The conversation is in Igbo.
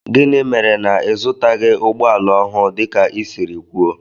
Gịnị mere na ịzụtaghi ụgbọala ọhụụ dika i siri kwụọ?